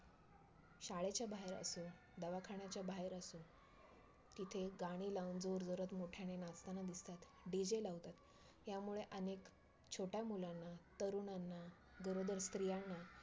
शाळेच्या बाहेर असो, दवाखान्याच्या बाहेर असो तिथे गाणी लावून जोरजोरात, मोठ्याने नाचताना दिसतात, DJ लावतात यामुळे अनेक छोट्या मुलांना, तरुणांना, गरोदर स्त्रीयांना,